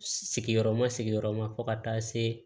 Sigiyɔrɔma sigiyɔrɔma fo ka taa se